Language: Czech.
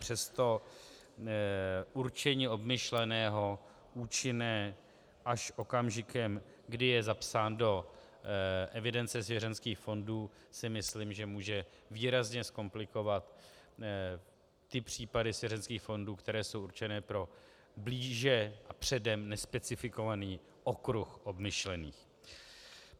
Přesto určení obmyšleného účinné až okamžikem, kde je zapsán do evidence svěřenských fondů, si myslím, že může výrazně zkomplikovat ty případy svěřenských fondů, které jsou určené pro blíže a předem nespecifikovaný okruh obmyšlených.